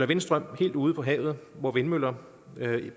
vindstrøm helt ude på havet hvor vindmøller